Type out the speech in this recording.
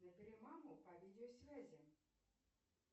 набери маму по видеосвязи